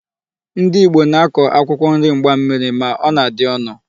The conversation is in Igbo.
Ndị Ìgbo na-akọ akwụkwọ nri mgbammiri ma ọ na-adị ọnụ.